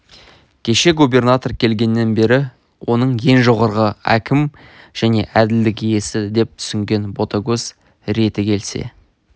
кеше губернатор келгеннен бері оны ең жоғарғы әкім және әділдік иесі деп түсінген ботагөз реті келсе